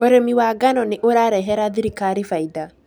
Ũrĩmi wa ngano nĩ ũrarehera thirikari faida